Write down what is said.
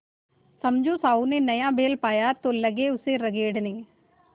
समझू साहु ने नया बैल पाया तो लगे उसे रगेदने